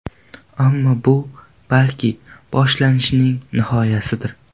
Ammo bu, balki, boshlanishning nihoyasidir.